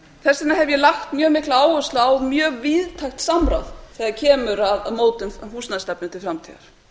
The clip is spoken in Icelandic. þess vegna hef ég lagt mjög mikla áherslu á mjög víðtækt samráð þegar kemur að mótun á húsnæðisstefnu til framtíðar